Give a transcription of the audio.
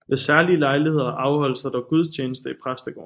Ved særlige lejligheder afholdes der dog gudstjeneste i præstegården